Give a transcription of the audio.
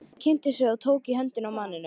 Pabbi kynnti sig og tók í höndina á manninum.